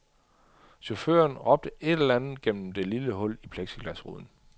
Chaufføren råbte et eller andet gennem det lille hul i plexiglasruden.